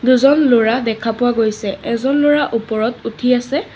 দুজন ল'ৰা দেখা পোৱা গৈছে এজন ল'ৰা ওপৰত উঠি আছে।